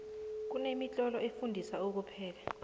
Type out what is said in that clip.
kune mitlolo efundisa ukupheka